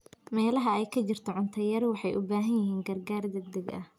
Meelaha ay ka jirto cunto yari waxay u baahan yihiin gargaar degdeg ah.